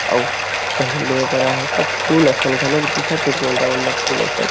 अऊ काही ले बर आए हे का फूल असन घलोक दिखा थे गोंदा ओंदा फूल असन--